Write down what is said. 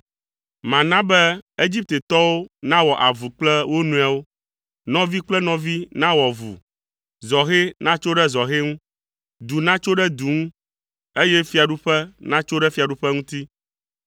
“Mana be Egiptetɔwo nawɔ avu kple wo nɔewo, nɔvi kple nɔvi nawɔ avu, zɔhɛ natso ɖe zɔhɛ ŋu, du natso ɖe du ŋu, eye fiaɖuƒe natso ɖe fiaɖuƒe ŋuti.